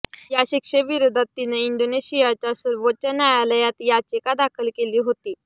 या शिक्षेविरोधात तिनं इंडोनेशियाच्या सर्वोच्च न्यायालयात याचिका दाखल केली होती